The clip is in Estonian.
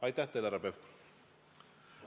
Aitäh teile, härra Pevkur!